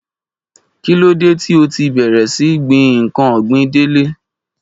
Kí ló dé ti o ti bẹ̀rẹ̀ sí gbin ǹkan ọ̀gbìn Dele?